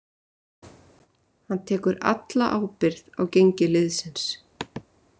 Hann tekur alla ábyrgð á gengi liðsins.